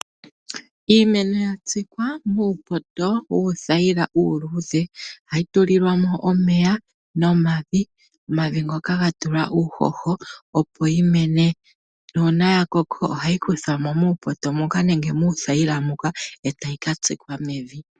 Iimeno yatsikwa muupoto wuuthayila uuluudhe. Ohayi tulilwa mo omeya nomavi, omavi ngoka ga tulwa uuhoho opo yi mene. Nuuna ya koko ohayi kuthwamo muupoto moka nenge muuthayila moka eta yi katsikwa mevi.